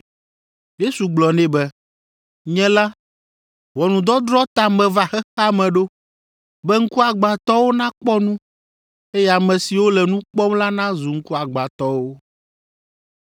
Yesu gblɔ nɛ be, “Nye la, ʋɔnudɔdrɔ̃ ta meva xexea me ɖo, be ŋkuagbãtɔwo nakpɔ nu, eye ame siwo le nu kpɔm la nazu ŋkuagbãtɔwo.”